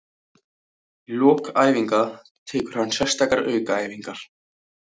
Í lok æfinga tekur hann sérstakar aukaæfingar.